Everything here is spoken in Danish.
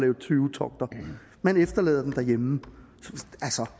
på tyvetogter man efterlader den derhjemme